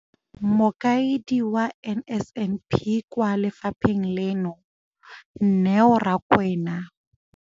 Mokaedi wa NSNP kwa lefapheng leno, Neo Rakwena.